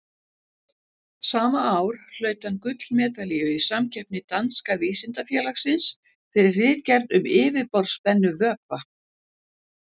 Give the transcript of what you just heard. Sama ár hlaut hann gullmedalíu í samkeppni Danska vísindafélagsins, fyrir ritgerð um yfirborðsspennu vökva.